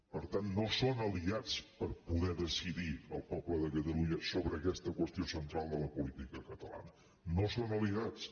per tant no són aliats per poder decidir el poble de catalunya sobre aquesta qüestió central de la política catalana no són aliats